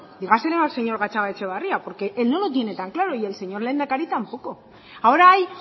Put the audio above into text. dígaselo al señor gatzagaetxebarria porque él no lo tiene tan claro y el señor lehendakari tampoco ahora hay